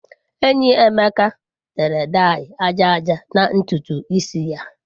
Enyi Emeka tere daị aja aja na ntutu isi ya.